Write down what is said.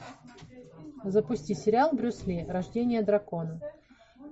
запусти сериал брюс ли рождение дракона